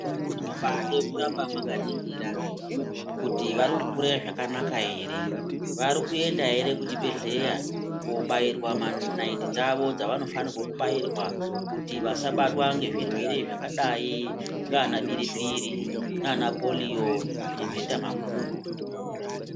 Kunobade kuramba mwakaningira kuti vari kukure zvakanaka ere vari kuenda ere kuchibhehleya kobairwa manaiti dzavo dzavanofane kubairwa kuti vasabarwe ngezvirwere zvakadai ndiana biripiri nana polio kana mheta makumbo.